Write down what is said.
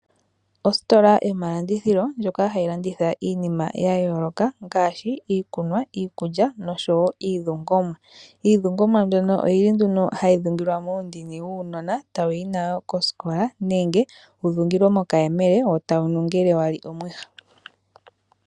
Ositola yomalandithilo ndjoka hayi landitha iinima ya yooloka ngaashi ikunwa, iikulya nosho wo iidhungomwa. Iidhungomwa mbyoka oyi li nduno hayi dhungilwa muundini wuunona eta wuyi nayo koosikola nenge wudhungilwe mokayemele wo tawu nuu ngele wali omuha.